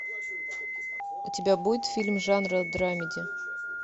у тебя будет фильм жанра драмеди